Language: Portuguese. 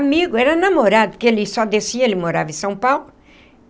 Amigo, era namorado, porque ele só descia, ele morava em São Paulo.